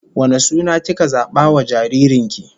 Wane suna kika zaba wa jaririn ki?